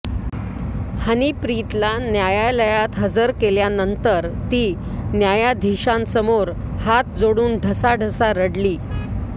हनीप्रीतला न्यायालयात हजर केल्यानंतर ती न्यायधीशांसमोर हात जेडून ढसाढसा रडली